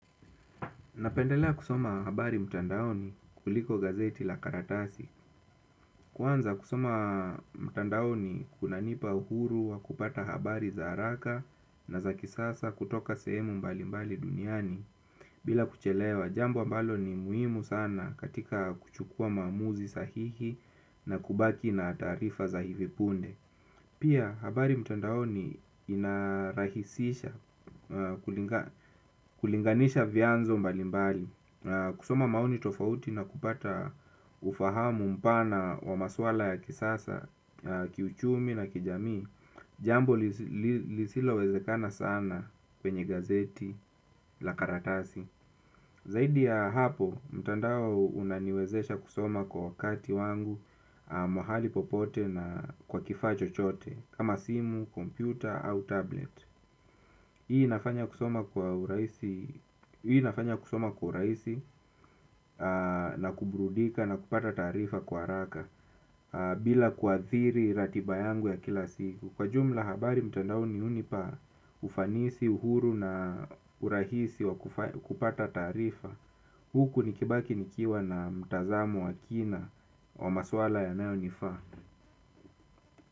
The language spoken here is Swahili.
Napendelea kusoma habari mtandaoni kuliko gazeti la karatasi. Kwanza kusoma mtandaoni kunanipa uhuru wa kupata habari za haraka na za kisasa kutoka sehemu mbalimbali duniani bila kuchelewa. Jambo ambalo ni muhimu sana katika kuchukua maamuzi sahihi na kubaki na taarifa za hivi punde. Pia habari mtandaoni inarahisisha kulinganisha vyanzo mbalimbali. Kusoma maoni tofauti na kupata ufahamu mpana wa masuala ya kisasa, kiuchumi na kijamii. Jambo lisilo wezekana sana kwenye gazeti la karatasi. Zaidi ya hapo mtandao unaniwezesha kusoma kwa wakati wangu, mahali popote na kwa kifaa chochote kama simu, kompyuta au tablet. Hii inafanya kusoma kwa urahisi na kuburudika na kupata taarifa kwa haraka. Bila kwa kuathiri ratiba yangu ya kila siku. Kwa ujumla habari mtandaoni hunipa ufanisi, uhuru na urahisi wa kupata tarifa huku nikibaki nikiwa na mtazamo wa kina wa masuala yanayo nifaa.